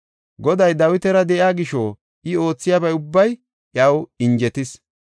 Goday Dawitara de7iya gisho I oothiyabay ubbay iyaw injetees.